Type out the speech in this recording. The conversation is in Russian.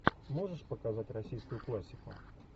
можешь показать российскую классику